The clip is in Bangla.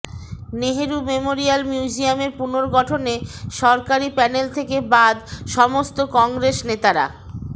নেহেরু মেমোরিয়াল মিউজিয়ামের পূনর্গঠনে সরকারি প্যানেল থেকে বাদ সমস্ত কংগ্রেস নেতারা